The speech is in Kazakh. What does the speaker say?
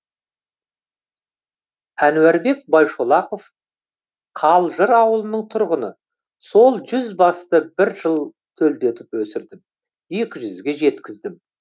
әнуарбек байшолақов қалжыр ауылының тұрғыны сол жүз басты бір жыл төлдетіп өсірдім екі жүзге жеткіздім